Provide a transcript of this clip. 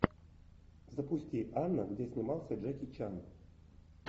запусти анна где снимался джеки чан